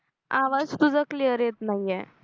आवाज तुझा क्लियर येत नाही आहे